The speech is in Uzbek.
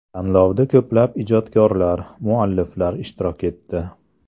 Tanlovda ko‘plab ijodkorlar, mualliflar ishtirok etdi.